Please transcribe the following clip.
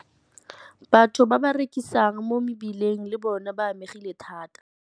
Batho ba ba rekisang mo mebileng le bona ba amegile thata.